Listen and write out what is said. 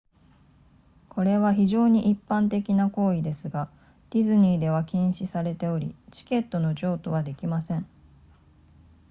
これは非常に一般的な行為ですがディズニーでは禁止されておりチケットの譲渡はできません